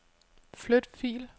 Flyt fil.